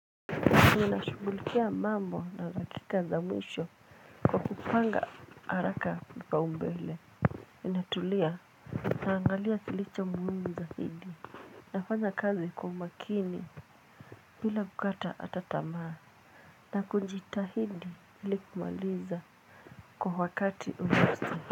Ninashugulikia mambo na dakika za mwisho kwa kupanga haraka vipaumbele natulia. Naangalia kilicho muhimu zaidi nafanya kazi kwa umakini bila kukata hata tamaa, na kujitahidi ili kumaliza kwa wakati unaostahili.